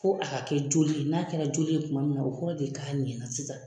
Fo a ka kɛ joli ye, n'a kɛra joli ye, kuma min na, o kɔrɔ de ye k'a ɲɛna sisan.